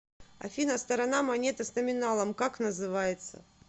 афина сторона монеты с номиналом как называется